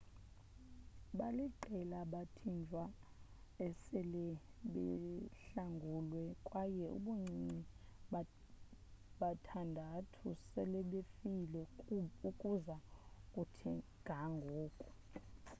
baliqela abathinjwa esele behlanguliwe kwaye ubuncinci bathandathu selebefile ukuza kuthi ga ngoku